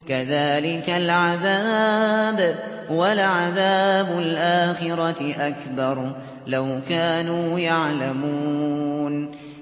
كَذَٰلِكَ الْعَذَابُ ۖ وَلَعَذَابُ الْآخِرَةِ أَكْبَرُ ۚ لَوْ كَانُوا يَعْلَمُونَ